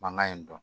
Mankan in dɔn